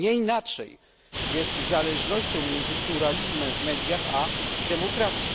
Nie inaczej jest z zależnością między pluralizmem w mediach a demokracją.